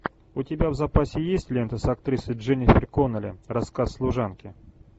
у тебя в запасе есть лента с актрисой дженнифер коннелли рассказ служанки